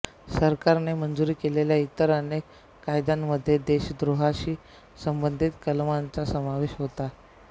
सरकारने मंजूर केलेल्या इतर अनेक कायद्यांमध्ये देशद्रोहाशी संबंधित कलमांचा समावेश होता